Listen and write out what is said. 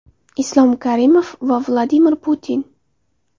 Islom Karimov va Vladimir Putin.